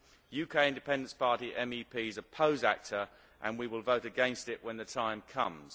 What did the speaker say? UK Independence Party MEPs oppose ACTA and we will vote against it when the time comes.